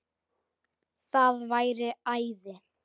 Það væri æði